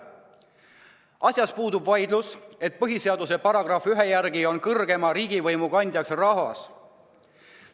Asjas puudub vaidlus, et põhiseaduse § 1 järgi on kõrgeima riigivõimu kandja rahvas.